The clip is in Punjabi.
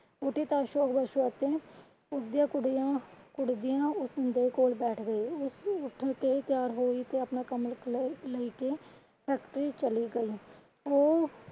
ਉਠੀ ਤਾਂ ਉਸਦੀਆਂ ਕੁੜੀਆਂ ਕੁੜਦੀਆਂ ਉਸਦੇ ਕੋਲ ਬੈਠ ਗਈ ਉਹ ਉੱਠ ਕੇ ਤਿਆਰ ਹੋਇ ਤੇ ਆਪਣਾ ਕਮਲ ਖਲੇਰ ਲੈ ਕੇ factory ਚਲੀ ਗਈ।